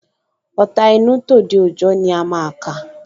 Ọ̀ta inú, tòde òjọ ni a máa kà